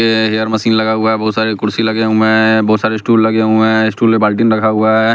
ये hair machine लगा हुआ हैं बहुत सारे कुर्सी लगे हुए है बहुत सारे स्टूल लगे हुए है स्टूल में बाल्टीन रखा हुआ हैं।